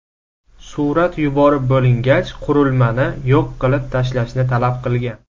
Surat yuborib bo‘lingach, qurilmani yo‘q qilib tashlashni talab qilgan.